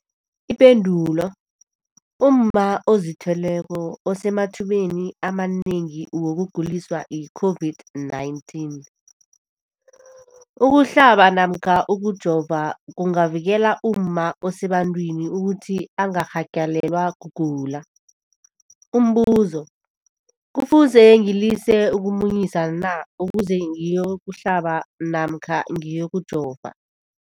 Ipendulo, umma ozithweleko usemathubeni amanengi wokuguliswa yi-COVID-19. Ukuhlaba namkha ukujova kungavikela umma osebantwini ukuthi angarhagalelwa kugula. Umbuzo, kufuze ngilise ukumunyisa na ukuze ngiyokuhlaba namkha ngiyokujova?